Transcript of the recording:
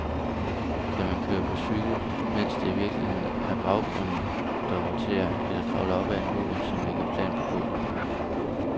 Kan man køre på cykel, mens det i virkeligheden er baggrunden, der roterer, eller kravle op ad en mur, som ligger plant på gulvet?